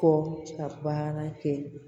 Kɔ ka baara kɛ